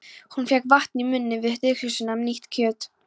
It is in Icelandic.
Hún fékk vatn í munninn við tilhugsunina um nýtt kjöt.